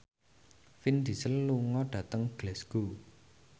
Vin Diesel lunga dhateng Glasgow